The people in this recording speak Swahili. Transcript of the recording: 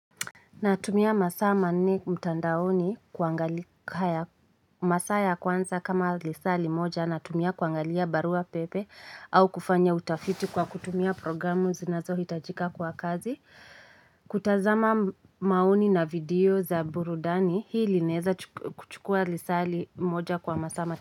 Natumia masaa manne mtandaoni kwa masaa ya kwanza kama lisaa limoja na tumia kuangalia barua pepe au kufanya utafiti kwa kutumia programu zinazo hitajika kwa kazi. Kutazama maoni na video za burudani hii linaeza kuchukua lisaa li moja kwa masaa ma.